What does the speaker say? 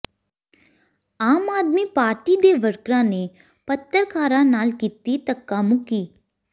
ਆਮ Aadmi Party ਦੇ ਵਰਕਰਾਂ ਨੇ ਪੱਤਰਕਾਰਾਂ ਨਾਲ ਕੀਤੀ ਧੱਕਾਮੁੱਕੀ